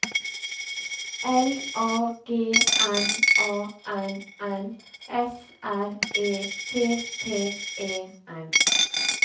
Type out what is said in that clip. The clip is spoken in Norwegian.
L A G M A N N S R E T T E N